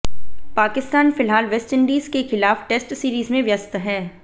पाकिस्तान फिलहाल वेस्टइंडीज के खिलाफ टेस्ट सीरीज में व्यस्त है